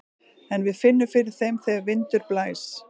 En við finnum fyrir þeim þegar vindur blæs.